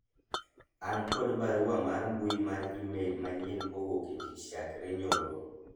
an kod barua mar mbui mar email manyien kowuok e tich chakre nyoro